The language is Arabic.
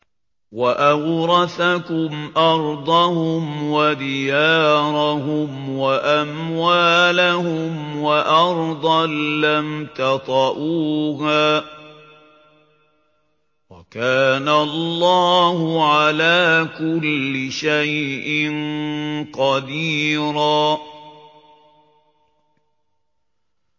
وَأَوْرَثَكُمْ أَرْضَهُمْ وَدِيَارَهُمْ وَأَمْوَالَهُمْ وَأَرْضًا لَّمْ تَطَئُوهَا ۚ وَكَانَ اللَّهُ عَلَىٰ كُلِّ شَيْءٍ قَدِيرًا